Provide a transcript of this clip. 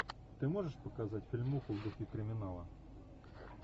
ты можешь показать фильмуху в духе криминала